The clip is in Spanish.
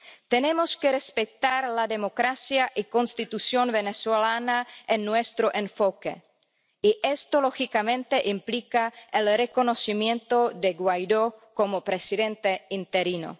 Tenemos que respetar la democracia y la Constitución venezolana en nuestro enfoque y esto lógicamente implica el reconocimiento de Guaidó como presidente interino.